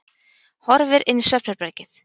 Horfir inn í svefnherbergið.